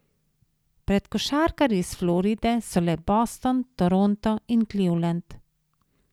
Pred košarkarji s Floride so le Boston, Toronto in Cleveland.